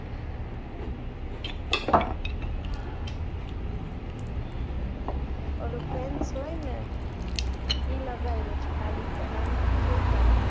ઓલું એ લગાવેલું હોય છે ખાલી પણ આમ છુટ્ટા